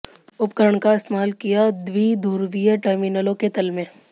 उपकरण का इस्तेमाल किया द्विध्रुवीय टर्मिनलों के तल में